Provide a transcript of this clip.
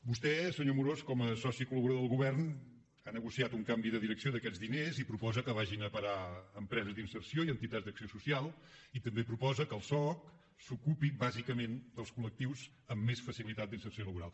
vostè senyor amorós com a soci col·laborador del govern ha negociat un canvi de direcció d’aquests diners i proposa que vagin a parar a empreses d’inserció i a entitats d’acció social i també proposa que el soc s’ocupi bàsicament dels col·cilitat d’inserció laboral